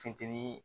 Funteni